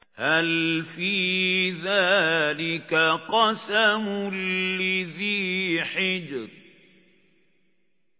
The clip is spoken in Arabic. هَلْ فِي ذَٰلِكَ قَسَمٌ لِّذِي حِجْرٍ